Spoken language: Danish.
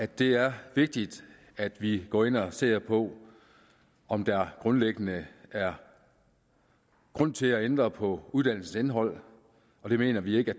det er vigtigt at vi går ind og ser på om der grundlæggende er grund til at ændre på uddannelsens indhold og det mener vi ikke